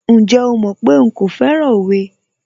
Ǹjẹ́ o mọ̀ pé nkò fẹ́ràn òwe?